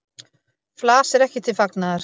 Flas er ekki til fagnaðar.